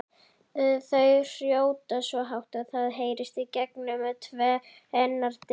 Þau hrjóta svo hátt að það heyrist gegnum tvennar dyr!